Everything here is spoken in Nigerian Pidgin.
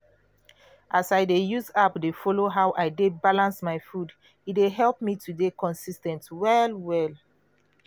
as i dey use app dey follow how i dey balance my food e dey help me to dey consis ten t well well.